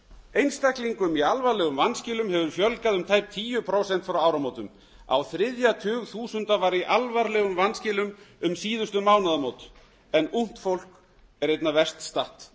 einstaklingum í alvarlegum vanskilum hefur fjölgað um tæp tíu prósent frá áramótum á þriðja tug þúsunda var í alvarlegum vanskilum um síðustu mánaðamót en ungt fólk er einna verst statt